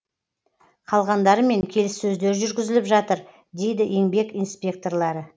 қалғандарымен келіссөздер жүргізіліп жатыр дейді еңбек инспекторлары